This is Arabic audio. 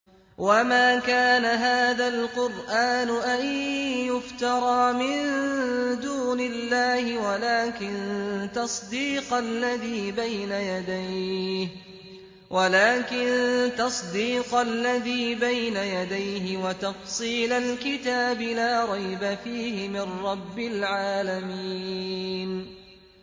وَمَا كَانَ هَٰذَا الْقُرْآنُ أَن يُفْتَرَىٰ مِن دُونِ اللَّهِ وَلَٰكِن تَصْدِيقَ الَّذِي بَيْنَ يَدَيْهِ وَتَفْصِيلَ الْكِتَابِ لَا رَيْبَ فِيهِ مِن رَّبِّ الْعَالَمِينَ